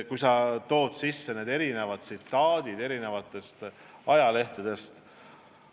Sa tõid tsitaate eri ajalehtedest.